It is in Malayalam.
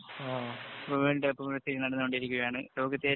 വേള്‍ഡ് കപ്പ്‌നടന്നു കൊണ്ടിരിക്കുകയാണ്. ലോകത്ത്